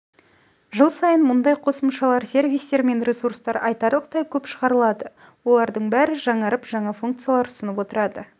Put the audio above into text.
жыл сайын мұндай қосымшалар сервистер мен ресурстар айтарлықтай көп шығарылады олардың бәрі жаңарып жаңа функциялар ұсынып отырады